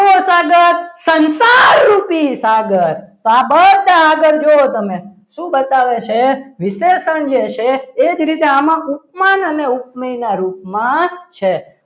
કેવો સાગર સંસારરૂપી સાગર આ બધા આગળ જોવો તમે શું બતાવે છે વિશેષણ જે છે એ જ રીતે આમાં ઉપમાન અને ઉપમેય ના રૂપમાં છે.